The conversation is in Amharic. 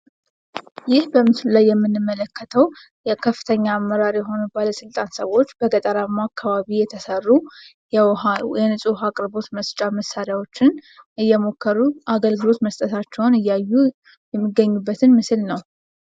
ይህ በምስሉ ላይ የምንመለከተው የከፍተኛ አመራር የሆኑ ባለስልጣን ሰዎች በገጠራማ አካባቢ የተሰሩ የንጹህ ውሃ አቅርቦት መስጫ መሳሪያዎችን እየሞከሩ አገልግሎት መስጠታቸውን እያዩ የሚገኙበትን ምስል ነው።